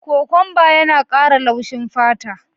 Kokwanba yana kara laushin fata.